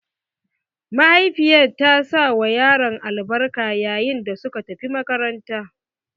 Mahaifiyar ta sawa yaronta albarka yayin da suka tafi makaranta.